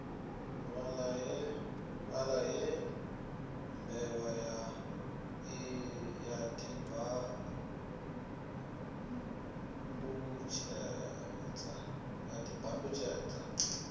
fhaḽa he mbevha ya ḓibandutshedza